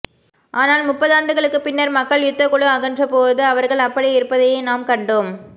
ஆனால் முப்பதாண்டுகளுக்குப் பின்னர் மக்கள் யுத்தக்குழு அகன்றபோது அவர்கள் அப்படியே இருப்பதையே நாம் கண்டோம்